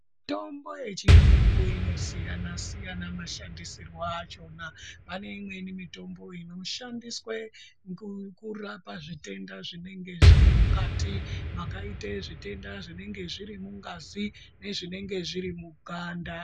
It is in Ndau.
Mitombo yechiyungu inosiyana siyana mashandisirwo achona, pane imweni mitombo inoshandiswe ngokurapa zvitenda zvinenge zviri mukati makaite zvitenda zvinenge zviri mungazi nezvinenge zviri muganda.